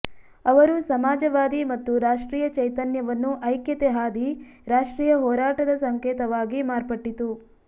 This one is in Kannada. ಅವರು ಸಮಾಜವಾದಿ ಮತ್ತು ರಾಷ್ಟ್ರೀಯ ಚೈತನ್ಯವನ್ನು ಐಕ್ಯತೆ ಹಾದಿ ರಾಷ್ಟ್ರೀಯ ಹೋರಾಟದ ಸಂಕೇತವಾಗಿ ಮಾರ್ಪಟ್ಟಿತು